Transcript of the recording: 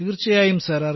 തീർച്ചയായും സർ